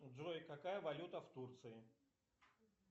джой какая валюта в турции